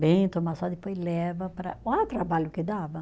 Bem, toma sol, depois leva para, olha o trabalho que dava.